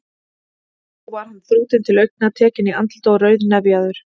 Þó var hann þrútinn til augna, tekinn í andliti og rauðnefjaður.